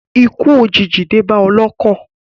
Ikú òjìji dé bá ọlọ́kọ̀.